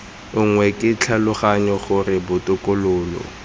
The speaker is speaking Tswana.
nngwe ke tlhaloganya gore botokololo